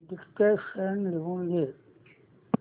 dictation लिहून घे